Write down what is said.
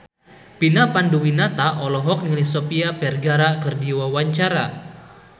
Vina Panduwinata olohok ningali Sofia Vergara keur diwawancara